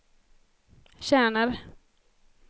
tjänar